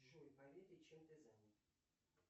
джой поведай чем ты занят